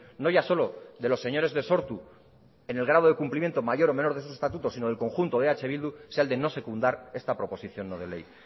no ya solo de los señores de sortu en el grado de cumplimiento mayor o menos de esos estatutos sino del conjunto de eh bildu sea el de no secundar esta proposición no de ley